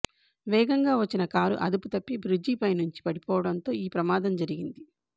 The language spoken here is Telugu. వేగంగా వచ్చిన కారు అదుపుతప్పి బ్రిడ్జి పైనుంచి పడిపోవడంతో ఈ ప్రమాదం జరిగింది